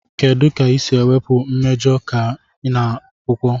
kedu ka ị ga-esi wepụ mmejọ di na akwụkwọ?